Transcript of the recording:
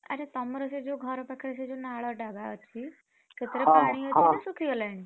ଆରେ ତମର ସେ ଯୋଉ ଘର ପାଖରେ ସେ ଯୋଉ ନାଳ ଟା ବା ଅଛି? ସେପଟେ ପାଣି ଅଛି ନା ଶୁଖିଗଲାଣି?